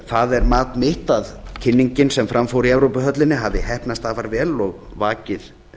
þar er mat mitt að kynningin sem fram fór í evrópuhöllinni hafi heppnast afar vel og vakið